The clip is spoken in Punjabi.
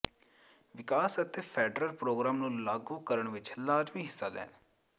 ਵਿਕਾਸ ਅਤੇ ਫੈਡਰਲ ਪ੍ਰੋਗਰਾਮ ਨੂੰ ਲਾਗੂ ਕਰਨ ਵਿੱਚ ਲਾਜ਼ਮੀ ਹਿੱਸਾ ਲੈਣ